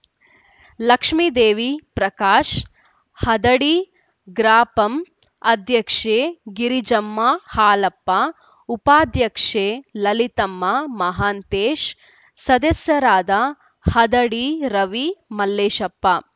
ಲಕ್ಷ್ಮೀದೇವಿ ಪ್ರಕಾಶ ಹದಡಿ ಗ್ರಾಪಂ ಅಧ್ಯಕ್ಷೆ ಗಿರಿಜಮ್ಮ ಹಾಲಪ್ಪ ಉಪಾಧ್ಯಕ್ಷೆ ಲಲಿತಮ್ಮ ಮಹಾಂತೇಶ ಸದಸ್ಯರಾದ ಹದಡಿ ರವಿ ಮಲ್ಲೇಶಪ್ಪ